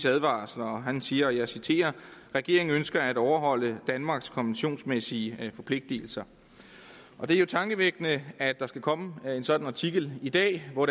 advarsler han siger og jeg citerer regeringen ønsker at overholde danmarks konventionsmæssige forpligtelser det er jo tankevækkende at der skal komme en sådan artikel i dag hvor